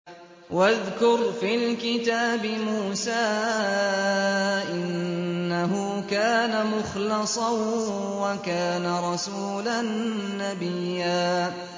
وَاذْكُرْ فِي الْكِتَابِ مُوسَىٰ ۚ إِنَّهُ كَانَ مُخْلَصًا وَكَانَ رَسُولًا نَّبِيًّا